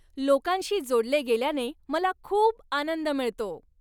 लोकांशी जोडले गेल्याने मला खूप आनंद मिळतो.